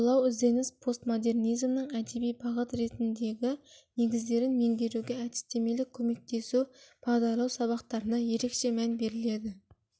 ойлау ізденіс постмодернизмнің әдеби бағыт ретіндегі негіздерін меңгеруге әдістемелік көмектесу бағдарлау сабақтарына ерекше мән беріледі